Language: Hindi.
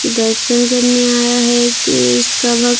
दर्शन करने आया है कि इसका वक--